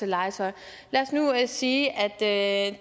legetøj lad os nu sige at